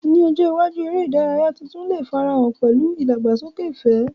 Ní ọjọ́ iwájú, eré ìdárayá tuntun lè farahàn pẹ̀lú ìdàgbàsókè ìfẹ́.